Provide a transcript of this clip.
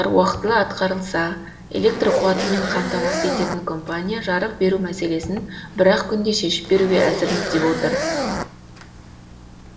уақытылы атқарылса электр қуатымен қамтамасыз ететін компания жарық беру мәселесін бір ақ күнде шешіп беруге әзірміз деп отыр